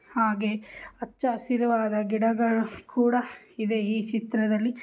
ಹಾಗೆ ಹಚ್ಚ ಹಸಿರಾದ ಗಿಡಗಳು ಕೂಡ ಇದೆ ಈ ಚಿತ್ರದಲ್ಲಿ.